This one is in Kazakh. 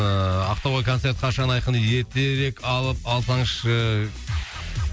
ыыы ақтауға концерт қашан айқын дейді ертерек алып алсаңызшы